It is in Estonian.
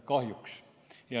Kahjuks.